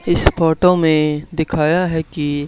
इस फोटो में दिखाया है कि--